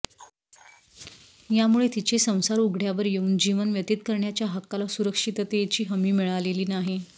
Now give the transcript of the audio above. यामुळे तीचे संसार उघड्यावर येऊन जीवन व्यतीत करण्याच्या हक्काला सुरक्षिततेची हमी मिळालेली नाही